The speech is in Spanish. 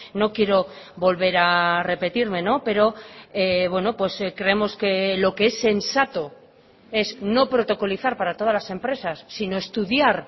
no quiero volver a repetirme pero creemos que lo que es sensato es no protocolizar para todas las empresas sino estudiar